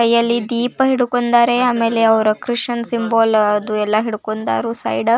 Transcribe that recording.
ಕೈಯಲ್ಲಿ ದೀಪ ಹಿಡ್ಕೊಂಡರೆ ಆಮೇಲೆ ಅವ್ರು ಕ್ರಿಶ್ಚಿಯನ್ ಸಿಎಂಬಲ್ ಅದು ಎಲ್ಲ ಹಿಡ್ಕೊಂಡರು ಸೈಡ .